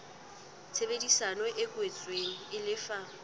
tshebedisano e kwetsweng e lefa